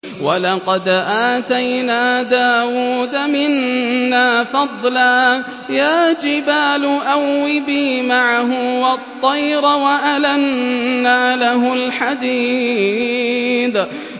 ۞ وَلَقَدْ آتَيْنَا دَاوُودَ مِنَّا فَضْلًا ۖ يَا جِبَالُ أَوِّبِي مَعَهُ وَالطَّيْرَ ۖ وَأَلَنَّا لَهُ الْحَدِيدَ